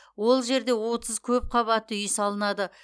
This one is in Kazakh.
ол жерде отыз көп қабатты үй салынады